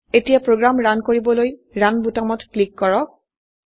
এতিয়া program run কৰিবলৈ run বোতাম টিপক